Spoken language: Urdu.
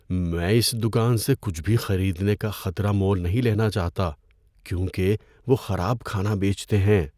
میں اس دکان سے کچھ بھی خریدنے کا خطرہ مول نہیں لینا چاہتا کیونکہ وہ خراب کھانا بیچتے ہیں۔